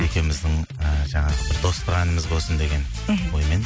екеуіміздің і жаңағы бір достық әніміз болсын деген мхм оймен